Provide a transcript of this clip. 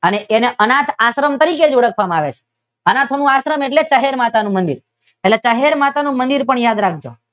અને તેને અનાથાશ્રમ તરીકે જ ઓળખવામાં આવે છે. અનાથોનો આશ્રમ એટલે ચહેર માતાનું મંદીર. એટલે ચહેર માતાનું મંદીર પણ યાદ રાખજો.